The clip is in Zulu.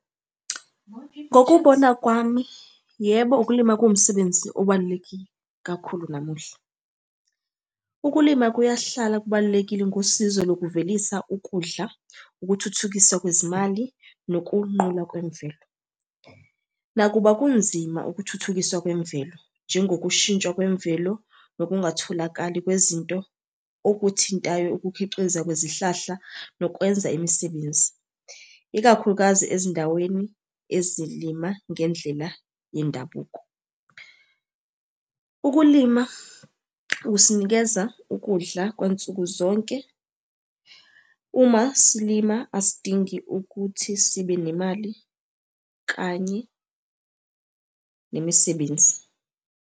Ngokubona kwami, yebo, ukulima kuwumsebenzi obalulekile kakhulu namuhla. Ukulima kuyahlala kubalulekile ngosizo lokuvelisa ukudla, ukuthuthukiswa kwezimali, nokunqulwa kwemvelo. Nakuba kunzima ukuthuthukiswa kwemvelo, njengokushintshwa kwemvelo nokungatholakali kwezinto okuthintayo ukukhixiza kwezihlahla nokwenza imisebenzi, ikakhulukazi ezindaweni ezilima ngendlela yendabuko. Ukulima kusinikeza ukudla kwansuku zonke. Uma silima asidingi ukuthi sibe nemali kanye nemisebenzi.